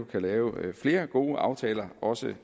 kan lave flere gode aftaler også